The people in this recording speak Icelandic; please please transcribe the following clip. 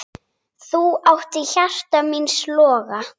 Þú áttir hjarta míns loga.